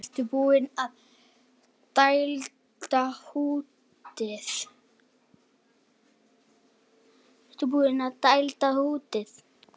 Ertu búinn að dælda húddið?